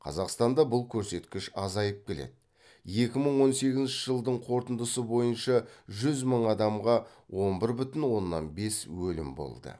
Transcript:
қазақстанда да бұл көрсеткіш азайып келеді екі мың он сегізінші жылдың қорытындысы бойынша жүз мың адамға он бір бүтін оннан бес өлім болды